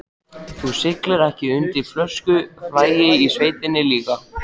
Þú siglir ekki undir fölsku flaggi í sveitinni líka?